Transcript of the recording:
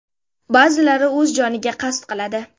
Ba’zilari o‘z joniga qasd qiladi.